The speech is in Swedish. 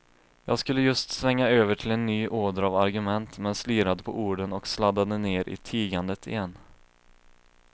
Jag skulle just svänga över till en ny åder av argument, men slirade på orden och sladdade ner i tigandet igen.